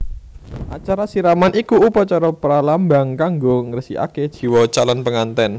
Acara siraman iku upacara pralambang kanggo ngresikaké jiwa calon pengantèn